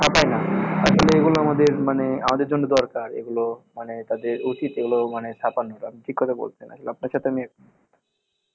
ছাপায় না, আসলে এগুলো আমাদের মানে আমাদের জন্য দরকার, এগুলো মানে তাদের উচিৎ এগুলো মানে ছাপানোর। আপনি ঠিক কথা বলেছেন, আসলে আপনার সাথে আমি একমত